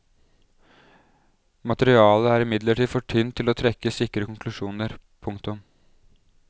Materialet er imidlertid for tynt til å trekke sikre konklusjoner. punktum